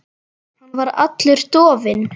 Hann var allur dofinn.